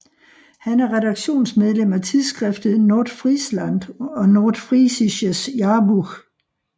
Han er redaktionsmedlem af tidsskriftet Nordfriesland og Nordfriesisches Jahrbuch